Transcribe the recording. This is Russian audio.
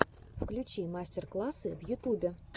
включи мастер классы в ютюбе